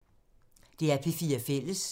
DR P4 Fælles